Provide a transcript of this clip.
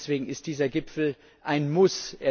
Deswegen ist dieser Gipfel ein Muss.